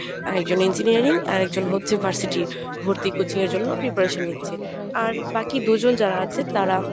আর একজন ইঞ্জিনিয়ারিং আর একজন হচ্ছে varsity ভর্তি coaching এর জন্য preparation নিচ্ছে আর বাকি দুজন যারা আছে তারা